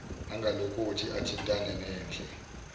angalokothi athintane nendle